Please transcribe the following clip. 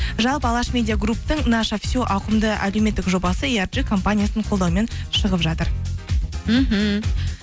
жалпы алаш медиагрупптың наша все ауқымды әлеуметтік жобасы компаниясының қолдауымен шығып жатыр мхм